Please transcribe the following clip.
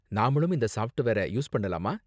நாமளும் இந்த சாஃப்ட்வேர யூஸ் பண்ணலாமா?